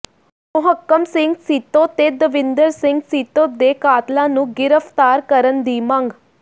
ਮੋਹਕਮ ਸਿੰਘ ਸੀਤੋ ਤੇ ਦਵਿੰਦਰ ਸਿੰਘ ਸੀਤੋ ਦੇ ਕਾਤਲਾਂ ਨੂੰ ਗਿ੍ਫ਼ਤਾਰ ਕਰਨ ਦੀ ਮੰਗ